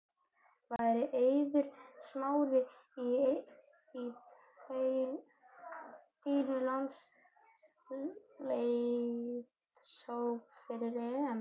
Væri Eiður Smári í þínum landsliðshóp fyrir EM?